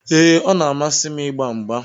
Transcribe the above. Ee, ọ na-amasị m ịgba mgba.